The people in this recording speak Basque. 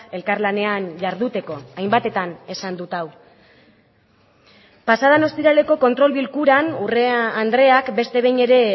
elkarlanean jarduteko hainbatetan esan dut hau pasa den ostiraleko kontrol bilkuran urrea andreak beste behin ere